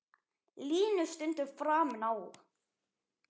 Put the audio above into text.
Línu stundum framinn á.